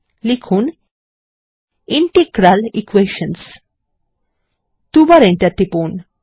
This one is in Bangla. লিখুন ইন্টিগ্রাল Equations দুইবার এন্টার টিপুন